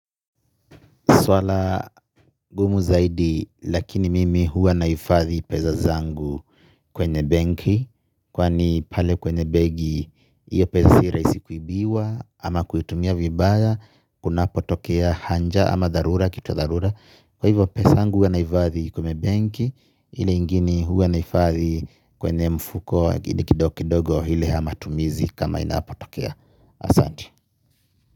Swala gumu zaidi lakini mimi huwa nahifadhi pesa zangu kwenye benki. Kwani pale kwenye benki iyo pesa si rahisi kuibiwa ama kuitumia vibaya. Kunapo tokea hanja ama dharura kitu ya dharura. Kwa hivyo pesa yangu huwa nahifadhi kwenye benki. Ile ingine huwa naifadhi kwenye mfuko kidogo hile yamatumizi kama inapo tokea asante.